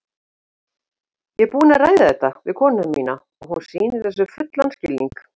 Ég er búinn að ræða þetta við konuna mína og hún sýnir þessu fullan skilning.